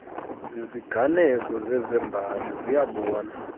ziziganeko zezembali siyabona